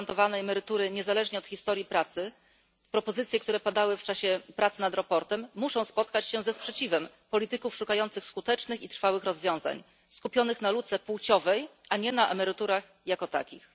gwarantowanej emerytury niezależnie od historii pracy bo i takie propozycje padały podczas pracy nad sprawozdaniem musi spotkać się ze sprzeciwem polityków szukających skutecznych i trwałych rozwiązań, skupionych na luce płciowej, a nie na emeryturach jako takich.